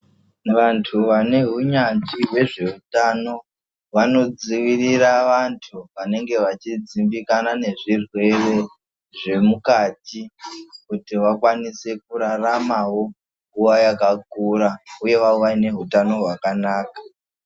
Vantu vane hunyanzvi hwezveutano vanodzivirira vantu vanenge vachidzimbikana nezvirwere zvemukati kuti vakwanise kuraramawo nguwa yakakura uye vawane utano hwakanaka.